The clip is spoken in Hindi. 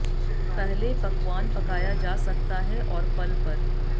पहले पकवान पकाया जा सकता है और फल पर